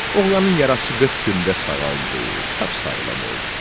Oğlanın yarası 40 gündə sağaldı, sap sağlam oldu.